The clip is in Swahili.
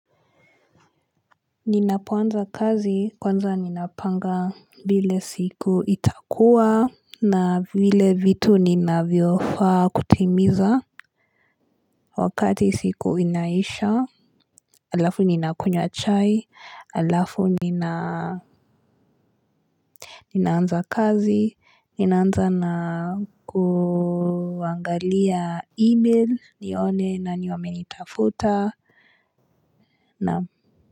Ninapoanza kazi kwanza ninapanga vile siku itakuwa. Na vile vitu ninavyofaa kutimiza wakati siku inaisha halafu ninakunya chai halafu nina ninaanza kazi ninaanza na kuangalia email nione nani wamenitafuta nam.